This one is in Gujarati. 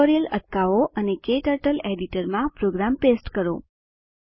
ટ્યુટોરીયલ અટકાવો અને ક્ટર્ટલ એડિટર માં પ્રોગ્રામ પેસ્ટ કરો